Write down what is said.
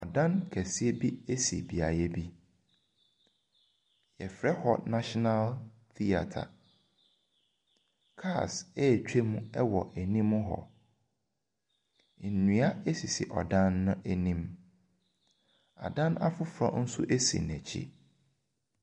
Dan kɛseɛ bi si beaeɛ bi. Wɔfrɛ hɔ national theatre. Cars retwam wɔ anim hɔ. Nnua sisi ɔdan no anim. Adan afoforɔ nso si n'akyi.